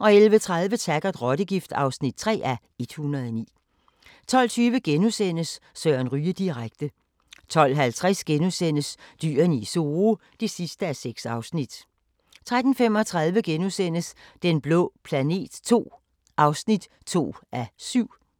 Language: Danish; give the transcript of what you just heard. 11:30: Taggart: Rottegift (3:109) 12:20: Søren Ryge direkte * 12:50: Dyrene i Zoo (6:6)* 13:35: Den blå planet II (2:7)*